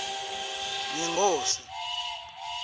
ngenkhosi